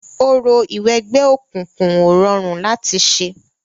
Orò ìwẹgbẹ́ òkùnkun ò rọrùn láti ṣẹ.